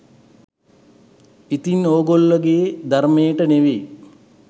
ඉතින් ඔගෝල්ලෝගේ ධර්මයට නෙවෙයි